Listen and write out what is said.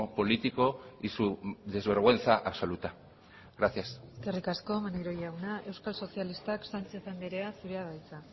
político y su desvergüenza absoluta gracias eskerrik asko maneiro jauna euskal sozialistak sánchez andrea zurea da hitza